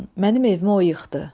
Mənim evimi o yıxdı.